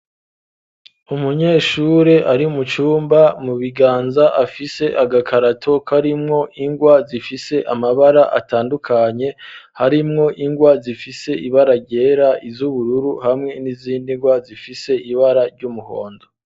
umunyeshure ari mu cyumba mu biganza afise agakarato karimwo ingwa zifise amabara atandukanye harimwo ingwa zifise ibara gera iz'ubururu hamwe n'izindi ngwa zifise ibara ry'umuhondo